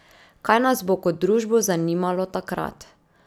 Kaj nas bo kot družbo zanimalo takrat?